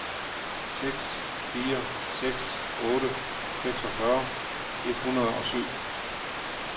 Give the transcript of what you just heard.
seks fire seks otte seksogfyrre et hundrede og syv